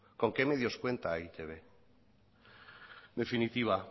con qué medios cuenta e i te be en definitiva